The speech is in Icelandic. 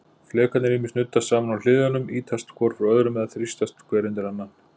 Flekarnir ýmist nuddast saman á hliðunum, ýtast hvor frá öðrum, eða þrýstast hver undir annan.